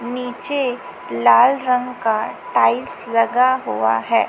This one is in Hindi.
नीचे लाल रंग का टाइल्स लगा हुआ है।